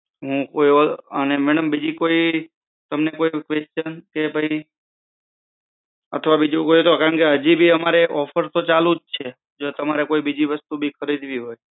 અને મેડમ બીજી કઈ તમને કઈ quetion કે ભઈ? અથવા બીજી કઈ કે, કેમ કે offer તો હાજી અમારે ચાલુ જ છે. જો તમારે બીજી કઈ વસ્તુ ખરીદવી હોય તો.